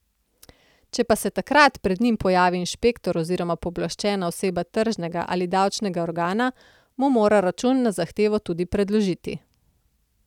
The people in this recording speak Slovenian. Če pa se takrat pred njim pojavi inšpektor oziroma pooblaščena oseba tržnega ali davčnega organa, mu mora račun na zahtevo tudi predložiti.